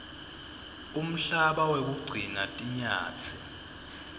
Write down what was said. umhlaba wekugcina tinyatsi